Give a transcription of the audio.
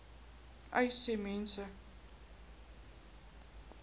uys sê mense